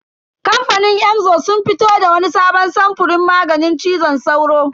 Kamfanin Emzor sun fito da wani sabon samfurin maganin cizon sauro.